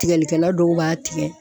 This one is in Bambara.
Tigɛlikɛla dɔw b'a tigɛ.